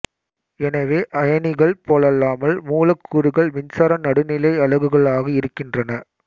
எனவே அயனிகள் போலல்லாமல் மூலக்கூறுகள் மின்சார நடுநிலை அலகுகளாக இருக்கின்றன